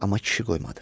Amma kişi qoymadı.